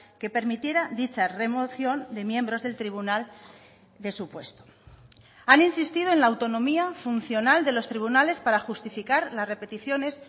que permitiera dicha remoción de miembros del tribunal de su puesto han insistido en la autonomía funcional de los tribunales para justificar las repeticiones